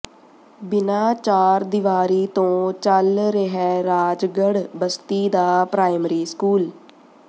ਬਿਨਾਂ ਚਾਰਦੀਵਾਰੀ ਤੋਂ ਚੱਲ ਰਿਹੈ ਰਾਜਗੜ੍ਹ ਬਸਤੀ ਦਾ ਪ੍ਰਾਇਮਰੀ ਸਕੂਲ